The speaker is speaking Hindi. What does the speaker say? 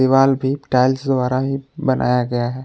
दीवाल भी टाइल्स द्वारा ही बनाया गया है।